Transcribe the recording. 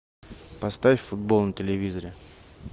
поставь футбол на телевизоре